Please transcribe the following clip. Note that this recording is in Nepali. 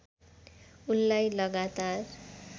उनलाई लगातार